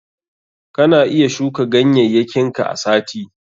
Kana iya shuka ganyayyakin ka a sati.